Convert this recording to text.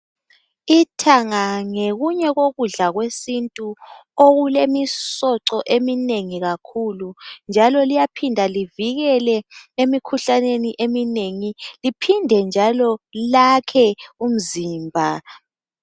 Ithanga ngokunye kokudla kwesintu okulemisoco eminengi kakhulu njalo liyaphinda livikele emikhuhlaneni eminengi. Liphinde njalo lakhe umzimba.